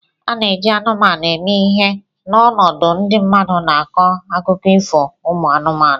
A na-eji anụmanụ eme ihe n'ọnọdụ ndị mmadụ n'akụkọ ifo umu anụmanụ